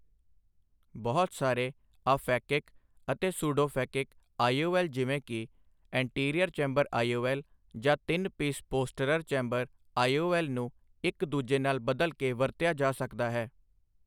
ਬਹੁਤ ਸਾਰੇ ਆਫੈਕਿਕ ਅਤੇ ਸੂਡੋਫੈਕਿਕ ਆਈ.ਓ.ਐੱਲ. ਜਿਵੇਂ ਕਿ ਐਂਟੀਰੀਅਰ ਚੈਂਬਰ ਆਈ.ਓ.ਐੱਲ. ਜਾਂ ਤਿੰਨ ਪੀਸ ਪੋਸਟਰਰ ਚੈਂਬਰ ਆਈ.ਓ.ਐੱਲ. ਨੂੰ ਇੱਕ ਦੂਜੇ ਨਾਲ ਬਦਲ ਕੇ ਵਰਤਿਆ ਜਾ ਸਕਦਾ ਹੈ।